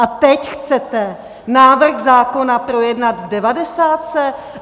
A teď chcete návrh zákona projednat v devadesátce?